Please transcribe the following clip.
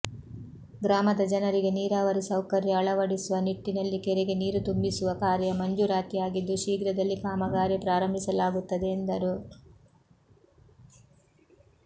ಗ್ರಾಮದ ಜನರಿಗೆ ನೀರಾವರಿ ಸೌಕರ್ಯ ಅಳವಡಿಸುವ ನಿಟ್ಟಿನಲ್ಲಿ ಕೆರೆಗೆ ನೀರು ತುಂಬಿಸುವ ಕಾರ್ಯ ಮಂಜೂರಾತಿಯಾಗಿದ್ದು ಶೀಘ್ರದಲ್ಲಿ ಕಾಮಗಾರಿ ಪ್ರಾರಂಭಿಸಲಾಗುತ್ತದೆ ಎಂದರು